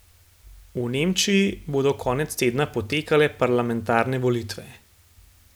V Nemčiji bodo konec tedna potekale parlamentarne volitve.